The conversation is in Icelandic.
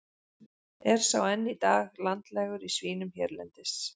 Er sá enn í dag landlægur í svínum hérlendis.